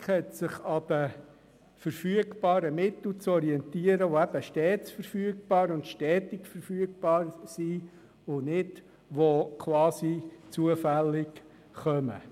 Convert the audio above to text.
Die Finanzpolitik hat sich an den verfügbaren Mitteln zu orientieren, die eben stets verfügbar und stetig verfügbar sind und nicht quasi zufällig hereinkommen.